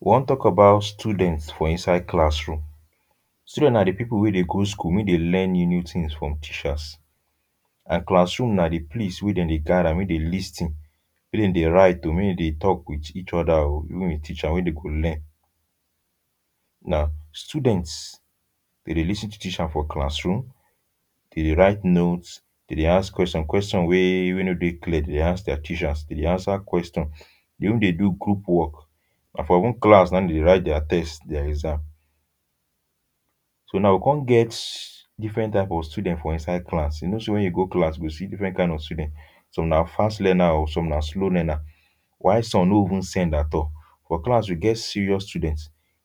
We wan talk about students for inside classroom. Students na di people wey dey go school, make dey learn new new things for teachers. And classroom na di place wey dem dey gather make dem lis ten wey dem dey write o, wey dem dey talk with each other o, even di teacher wey dem go learn. Na students, dey dey lis ten to teacher for classroom, dey dey write notes, dem dey ask question wey wey no dey clear dem dey ask their teacher. Dem dey answer question. Dey even dey do group work. Na for even class dey dey write dia test and exam. So now we come get different type of students for inside class. You know say when you get class, you go see different kind of student. Some na fast learner o, some na slow learner, while some no even send at all. For class, we get serious student.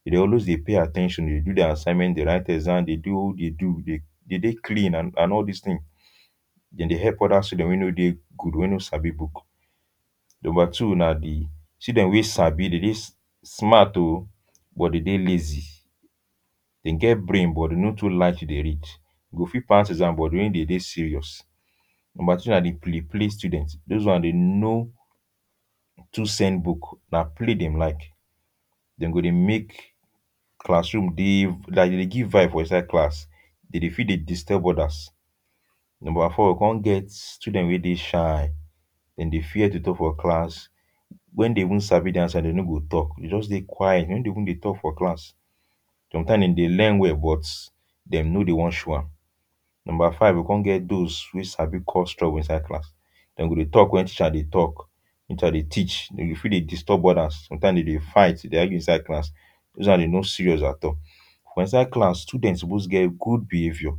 Dem dey always dey pay at ten tion, dey do assignment, dey write exam, dey do di do. Dey dey clean and all dis tin. Dem dey help other students wey no dey good, wey no sabi book. Number two na, di student way sabi, dey dey smart o, but dem dey lazy. Dem get brain, but no too like to dey read. Dey go fit pass exams but when dem dey serious. Number three na di play play student. Those are di no too send book. Na play dem like. Dem go dey make classroom dey like dem dey give vibe for inside class. Dem dey fit dey disturb others. Number four, come get student wey dey shy. Dem dey fear to talk for class. When dem even sabi di answer, dem no go talk, dem just dey quiet. Dem no dey even dey talk for class. Sometimes, dem dey learn well, but dem no dey wan show am. Number five, we come get those wey sabi cause trouble for class. Dem go dey talk when teacher dey talk. Teacher dey teach, dem go fit dey disturb others. Sometimes, dem dey fight, dey argue inside class. Those ones dem no serious at all for inside class. For inside class, student suppose get good behaviour.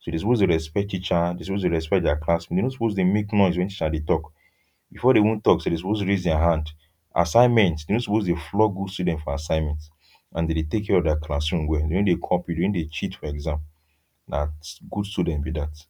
So dem suppose dey dey respect teacher. Dem suppose dey respect dia classmate. Dem no suppose dey make noise when teacher dey talk. Before dem even talk, dem suppose raise dia hand. Assignments, dem no suppose flog good students for assignments and dey dey take care of dia classroom well. Dem no dey copy, dem no dey cheat for exam. Na good student be dat.